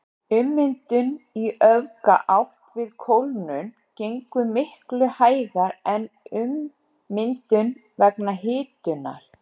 Ummyndun í öfuga átt við kólnun gengur miklu hægar en ummyndun vegna hitunar.